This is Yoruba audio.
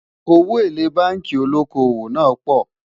owó élè bánkì olókó owó pò